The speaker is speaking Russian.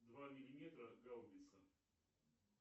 два миллиметра гаубица